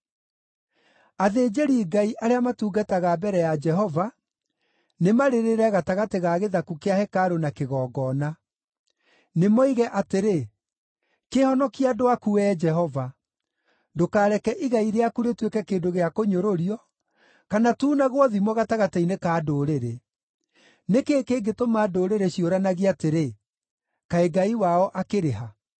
Athĩnjĩri-Ngai, arĩa matungataga mbere ya Jehova, nĩmarĩrĩre gatagatĩ ga gĩthaku kĩa Hekarũ na kĩgongona. Nĩmoige atĩrĩ, “Kĩhonokie andũ aku, Wee Jehova. Ndũkareke igai rĩaku rĩtuĩke kĩndũ gĩa kũnyũrũrio, kana tuunagwo thimo gatagatĩ-inĩ ka ndũrĩrĩ. Nĩ kĩĩ kĩngĩtũma ndũrĩrĩ ciũranagie atĩrĩ, ‘Kaĩ Ngai wao akĩrĩ ha?’ ”